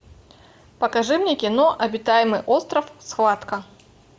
покажи мне кино обитаемый остров схватка